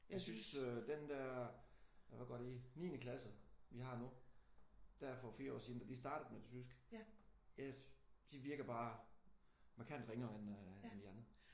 Jeg synes den der hvad går de i niende klasse vi har nu. Der for 4 år siden og de startede med tysk. De virker bare markant ringere end de andre